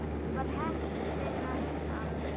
Var heppin að hitta hann.